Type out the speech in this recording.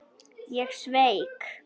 Ég sveik.